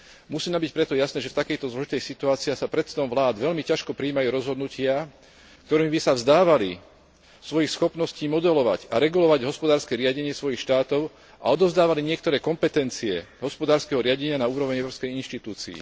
Musí nám byť preto jasné, že v takejto zložitej situácii sa predsedom vlád veľmi ťažko prijímajú rozhodnutia, ktorými by sa vzdávali svojich schopností modelovať a regulovať hospodárske riadenie svojich štátov a odovzdávali niektoré kompetencie hospodárskeho riadenia na úroveň európskej inštitúcii.